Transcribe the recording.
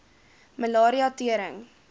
malaria tering